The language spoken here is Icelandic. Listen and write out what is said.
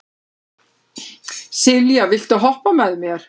Sylvía, viltu hoppa með mér?